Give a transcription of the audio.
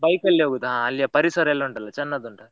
Bike ಅಲ್ಲಿ ಹೋಗುದಾ ಆ ಅಲ್ಲಿಯ ಪರಿಸರ ಎಲ್ಲ ಉಂಟಲ್ಲ ಚನ್ನದು ಉಂಟು.